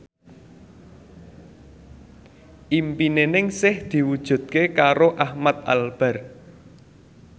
impine Ningsih diwujudke karo Ahmad Albar